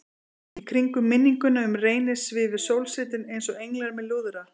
Í kringum minninguna um Reyni svifu sólsetrin einsog englar með lúðra.